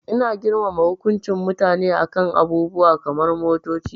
Ina girmama hukuncin mutane a kan abubuwa kamar motoci.